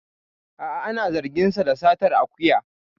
A'a ana zargin sa da satar akuya